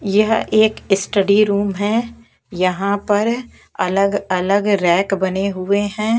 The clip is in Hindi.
यह एक स्टडी रूम है यहां पर अलग-अलग रैक बने हुए हैं।